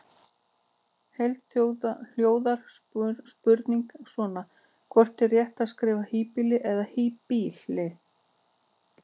Í heild hljóðar spurningin svona: Hvort er rétt að skrifa híbýli eða hýbýli?